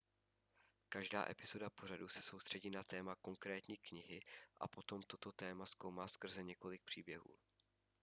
každá epizoda pořadu se soustředí na téma konkrétní knihy a potom toto téma zkoumá skrze několik příběhů